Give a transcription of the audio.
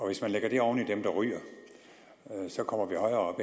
hvis man lægger det oven i dem der ryger så kommer vi højere